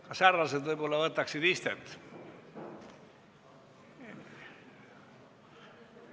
Kas härrased võib-olla võtaksid istet?